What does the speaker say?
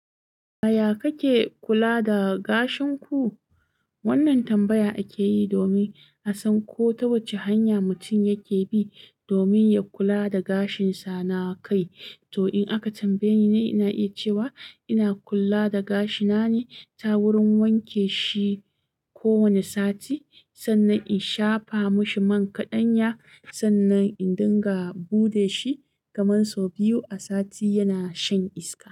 Ya ya kake kula da gashin ku?" wannan tambaya akeyi domin a san ko ta wace hanya mutum yake bi domin ya kula da gashinsa na kai. To in aka tambaye ni, ina iya cewa ina kula da gashi na ne ta wurin wanke shi kowa ne sati sannan in shafa mashi man kaɗanya sannan in dinga bude shi kamar sau biyu a sati yana shan iska.